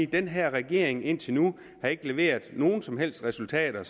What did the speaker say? den her regering har indtil nu ikke leveret nogen som helst resultater